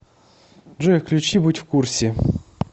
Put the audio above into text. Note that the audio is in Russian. джой включи будь в курсе